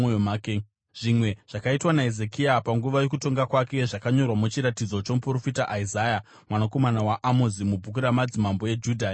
Zvimwe zvakaitwa naHezekia panguva yokutonga kwake zvakanyorwa muchiratidzo chomuprofita Isaya mwanakomana waAmozi mubhuku ramadzimambo eJudha neIsraeri.